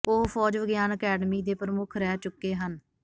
ਉਹ ਫੌਜ ਵਿਗਿਆਨ ਅਕੈਡਮੀ ਦੇ ਪ੍ਰਮੁੱਖ ਰਹਿ ਚੁੱਕੇ ਹਨ